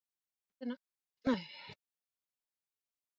Hversu mörg grömm eru í fimmtán kílóum?